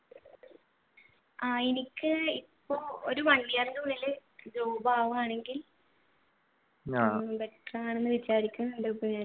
ആഹ് എനിക്ക് ഇപ്പോ ഒരു one year ഉള്ളിൽ job ആവുകയാണെകിൽ